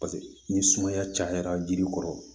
Paseke ni sumaya cayara jiri kɔrɔ